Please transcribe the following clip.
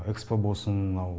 экспо болсын мынау